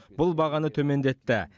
бұл бағаны төмендетті